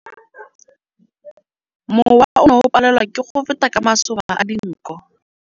Mowa o ne o palelwa ke go feta ka masoba a dinko.